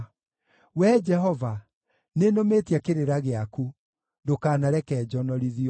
Wee Jehova, nĩnũmĩtie kĩrĩra gĩaku; ndũkanareke njonorithio.